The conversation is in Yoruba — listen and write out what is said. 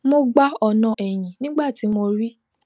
mo gba ọnà ẹyìn nígbà tí mo rí